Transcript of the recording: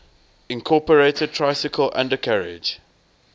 incorporated tricycle undercarriage